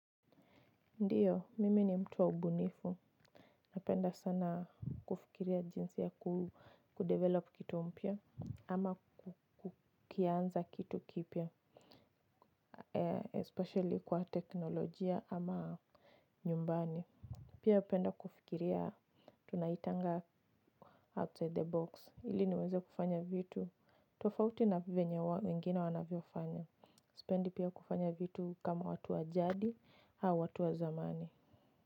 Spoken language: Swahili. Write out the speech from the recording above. Ndiyo mimi ni mtu waubunifu napenda sana kufikiria jinsi ya kudevelop kitu mpya ama kukianza kitu kipya Especially kwa teknolojia ama nyumbani. Pia upenda kufikiria tunaitanga outside the box ili niweze kufanya vitu tofauti na venye wengine wanavyofanya. Sipendi pia kufanya vitu kama watu wajadi au watu wazamani.